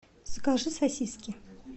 закажи сосиски